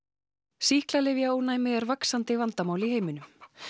sýklalyfjaónæmi er vaxandi vandamál í heiminum